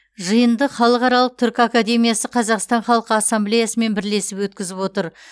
жиынды халықаралық түркі академиясы қазақстан халқы ассамблеясымен бірлесіп өткізіп отыр